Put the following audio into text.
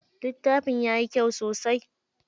Littafin yayi kyau sosai.